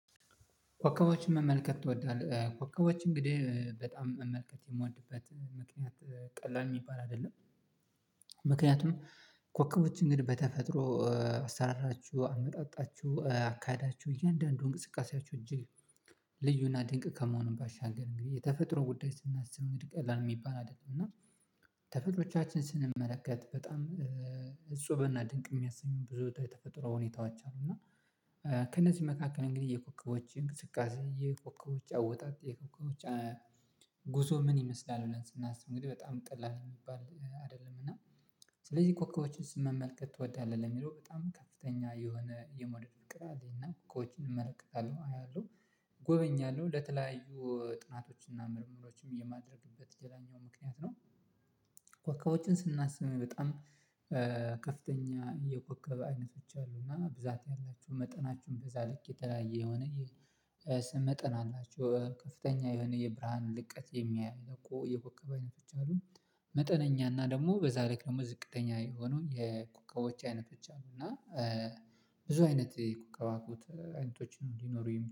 ኮከቦችን መመልከት ትወዳለህ? ኮከቦች እንግዲህ በጣም መመልከት የምወድበት ምክንያት ቀላል ሚባል አይደለም። ምክንያቱም ኮከቦችን እንግዲህ በተፈጥሮ አሰራራችሁ አመጣጣችሁ አካዳችሁ እያንዳንዱ እንቅስቃሴያችሁ እጅግ ልዩና ድንቅ ከመሆኑም ባሻገር እንግዲህ የተፈጥሮ ጉዳይ ስናስብ እንግዲህ ቀላል ሚባል አይደለም። እና ተፈጥሮቻችን ስንመለከት በጣም እፁበና ድንቅ የሚያሰኙ ብዙ የተፈጥሮ ሁኔታዎች አሉ። እና ከእነዚህ መካከል እንግዲህ የኮከቦች እንቅስቃሴ የኮከቦች አወጣጥ የኮከቦች ጉዞ ምን ይመስላል? ብለን ስናስብ እንግዲህ በጣም ቀላል ሚባል አደለም። እና ስለዚህ ኮከቦችን መመልከት ትወዳለህ ለሚለው በጣም ከፍተኛ የሆነ የመውደድ ፍቅር አለኝ። እና ኮከቦችን እመለከታለሁ አያለሁ እጎበኛለሁ ለተለያዩ ጥናቶች እና ምርምሮችም የማድረግበት ሌላኛው ምክንያት ነው። ኮከቦችን ስናስብ በጣም ከፍተኛ የኮከብ አይነቶች አሉ እና ብዛት ያላችሁ መጠናችሁን በዛ ልክ የተለያየ የሆነ መጠን አላቸው ከፍተኛ የሆነ የብርሃን ልቀት የሚያይ እኮ የኮከብ አይነቶች አሉ። መጠነኛ እና ደግሞ በዛ ልክ ደግሞ ዝቅተኛ የሆኑ የኮከቦች አይነቶች አሉ እና ብዙ አይነት የኩዋክብት አይነቶችን እንዲኖሩ